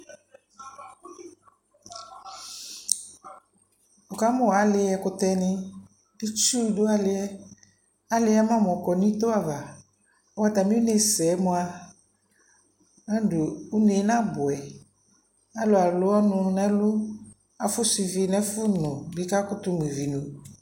Wuka mu ali, ɛkutɛ niItsu du aliAli ama mɔkɔ nito avaɔta mi ne sɛ mua, ɔdu une na buɛAlu alɔnu nɛ luAfusu ivi nɛ fu nu bi kaku tu mu ivi nyua